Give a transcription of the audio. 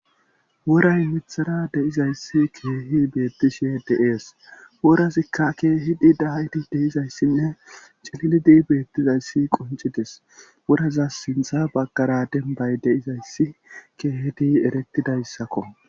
Woray mithara deizayssi keehi beettishe deees worasikka keehidi daydi deizayssinne cillidi beettizayssi quncites woraza sintha baggara denbay deizayssi keehedi eretidayssakko